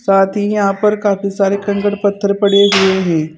साथ ही यहां पर काफी सारे कंकड़ पत्थर पड़े हुए हैं।